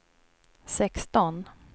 sexton